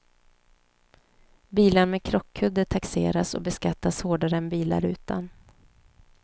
Bilar med krockkudde taxeras och beskattas hårdare än bilar utan.